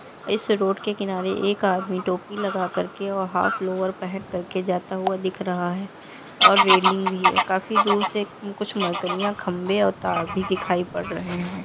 इस रोड के किनारे एक आदमी टोपी लगा करके और हाफ लोअर पहन करके जाता हुआ दिख रहा है और रेलिंग भी है काफी दूर से कुछ मकान या खंभे और तार भी दिखाई पड़ रहे है।